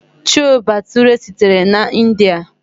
Chole Bhature sitere na India.